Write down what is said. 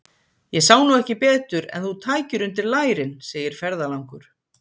Ég sá nú ekki betur en þú tækir undir lærin, segir ferðalangur.